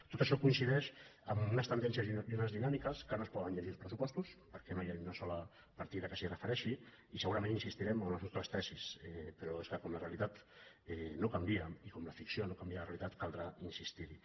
tot això coincideix amb unes tendències i unes dinà·miques que no es poden llegir als pressupostos per·què no hi ha ni una sola partida que s’hi refereixi i segurament insistirem en les nostres tesis però és que com la realitat no canvia i com la ficció no canvia la realitat caldrà insistir·hi